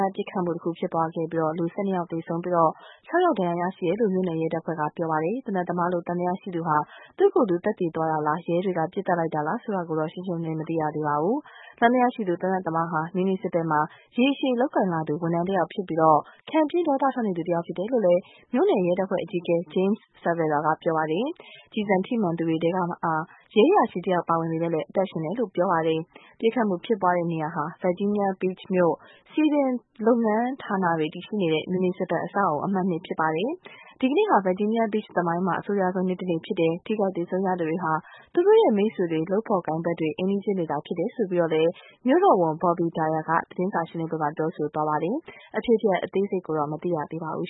တ်ပစ်ခတ်မှု တခု ဖြစ်ပွားခဲ့ပြီး ၁၂ ဦး သေဆုံး၊ ၆ ဦး ဒဏ်ရာရရှိတယ်လို့ မြို့နယ် ရဲ တပ်ဖွဲ့က ပြောပါတယ်။ သေနတ်သမားလို့ သံသယရှိသူဟာ သူ့ကိုယ်သူ သတ်သေသွားတာလား၊ ရဲတွေက ပစ်သတ်လိုက်တာလားဆိုတာ ရှင်းရှင်းလင်းလင်း မသိရသေးပါဘူး။ သံသယရှိသူ သေနတ်သမားဟာ မြူနီစီပယ်မှာ ရေရှည်လုပ်ကိုင်လာသူ ဝန်ထမ်းတဦးဖြစ်ပြီး ခံပြင်း ဒေါသထွက်နေသူတဦး ဖြစ်တယ်လို့ မြို့နယ်ရဲတပ်ဖွဲ့အကြီးအကဲ James Cervera က ဆိုပါတယ်။ ကျည်ဆန်ထိမှန်သူတွေထဲမှာ ရဲအရာရှိတယောက်ပါဝင်ပေမယ့် အသက်ရှင်တယ်လို့ ဆိုပါတယ်။ ပစ်ခတ်မှုဖြစ်ပွားတဲ့နေရာဟာ Virginia Beach မြို့ စည်ပင်လုပ်ငန်းဌာနတွေ တည်ရှိတဲ့ မြူနီစီပယ် အဆောက်အအုံ အမှတ် ၂ ဖြစ်ပါတယ်။ ဒီကနေ့ဟာ Virginia Beach သမိုင်းမှာ အဆိုးရွားဆုံး နေ့တနေ့ ဖြစ်တယ်၊ ထိခိုက် သေဆုံးရသူတွေဟာ သူတို့ရဲ့ မိတ်ဆွေတွေ၊ လုပ်ဖော်ကိုင်ဖက်တွေ၊ အိမ်နီးချင်းတွေဖြစ်တယ်လို့ မြို့တော်ဝန် Bobby Dyer က သတင်းစာရှင်းလင်းပွဲမှာ ပြောကြားသွားပါတယ်။ အဖြစ်အပျက် အသေးစိတ်ကိုတော့ မသိရသေးပါဘူး